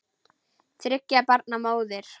Þriggja barna móðir.